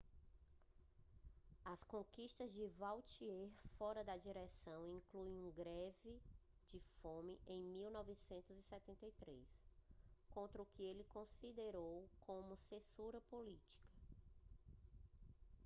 as conquistas de vautier fora da direção incluem uma greve de fome em 1973 contra o que ele considerou como censura política